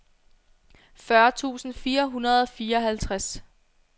fyrre tusind fire hundrede og fireoghalvtreds